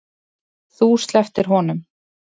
Þú slepptir honum.